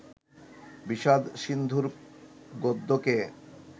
বিষাদ-সিন্ধুর গদ্যকে